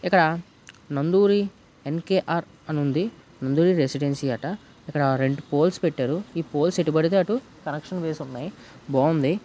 ఇక్కడ నంధురీ న్_కె_ర్ అని ఉంది. నంధురీ రెసిడెన్సీ అట. ఇక్కడ రెండు పోల్స్ పెట్టారు. ఈ పోల్స్ ఎటు పడితే అటు కనెక్షన్ వేసి ఉన్నాయ్. బాగుంది.